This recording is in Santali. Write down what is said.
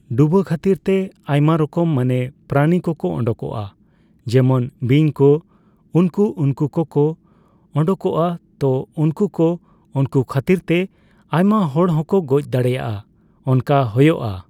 ᱰᱩᱵᱟᱹ ᱠᱷᱟᱛᱤᱨ ᱛᱮ ᱟᱭᱢᱟ ᱨᱚᱠᱚᱢ ᱢᱟᱱᱮ ᱯᱨᱟᱱᱤ ᱠᱚᱠᱚ ᱳᱰᱳᱝᱚᱜᱼᱟ ᱡᱮᱢᱚᱱ ᱵᱤᱧ ᱠᱚ ᱩᱱᱠᱩ ᱩᱱᱠᱩ ᱠᱚᱠᱚ ᱳᱰᱳᱝᱚᱜᱼᱟ ᱛᱚ ᱩᱱᱠᱩ ᱠᱚ ᱩᱱᱠᱩ ᱠᱷᱟᱛᱤᱨ ᱛᱮ ᱟᱭᱢᱟ ᱦᱚᱲ ᱦᱚᱸᱠᱚ ᱜᱚᱡ ᱫᱟᱲᱮᱭᱟᱜᱼᱟ ᱚᱱᱠᱟ ᱦᱳᱭᱳᱜᱼᱟ ᱾